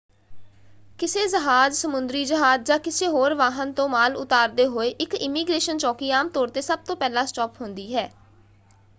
ਕਿਸੇ ਜਹਾਜ਼ ਸਮੁੰਦਰੀ ਜਹਾਜ਼ ਜਾਂ ਕਿਸੇ ਹੋਰ ਵਾਹਨ ਤੋਂ ਮਾਲ ਉਤਾਰਦੇ ਹੋਏ ਇੱਕ ਇਮੀਗ੍ਰੇਸ਼ਨ ਚੌਕੀ ਆਮ ਤੌਰ 'ਤੇ ਸਭ ਤੋਂ ਪਹਿਲਾ ਸਟਾਪ ਹੁੰਦੀ ਹੈ।